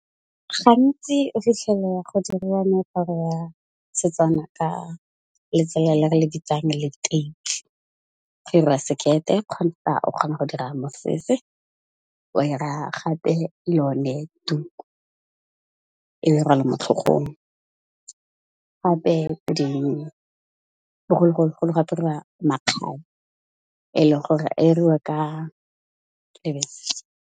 Gantsi o fitlhella go diriwa moaparo wa Setswana ka letsela le re le bitsang leteisi. Re ira sekete, kgotsa o kgona go dira mosese, wa ira gape lo yone tuku e be rwala motlhogong, gape bogologolo go ne go apariwa makgabe e le gore e iriwa ka .